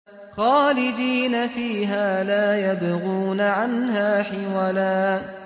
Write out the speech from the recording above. خَالِدِينَ فِيهَا لَا يَبْغُونَ عَنْهَا حِوَلًا